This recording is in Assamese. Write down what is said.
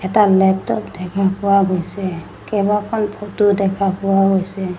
এটা লেপটপ দেখা পোৱা গৈছে কেবা খন ফটো দেখা পোৱা গৈছে।